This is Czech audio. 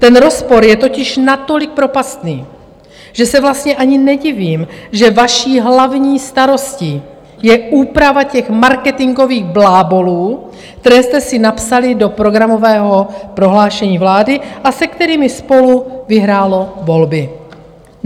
Ten rozpor je totiž natolik propastný, že se vlastně ani nedivím, že vaší hlavní starostí je úprava těch marketingových blábolů, které jste si napsali do programového prohlášení vlády a se kterými SPOLU vyhrálo volby.